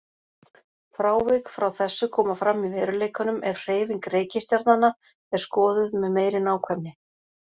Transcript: Frávik frá þessu koma fram í veruleikanum ef hreyfing reikistjarnanna er skoðuð með meiri nákvæmni.